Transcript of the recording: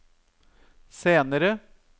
senere